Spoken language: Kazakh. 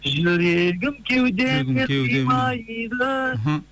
жүрегім кеудеме кеудеме симайды мхм